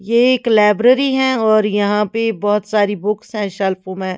यह एक लाइब्रेरी है और यहाँ पे बहुत सारे बुक्स है शेल्फों में--